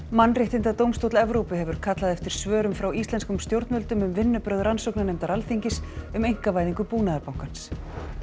mannréttindadómstóll Evrópu hefur kallað eftir svörum frá íslenskum stjórnvöldum um vinnubrögð rannsóknarnefndar Alþingis um einkavæðingu Búnaðarbankans